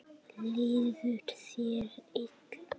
Líður þér illa?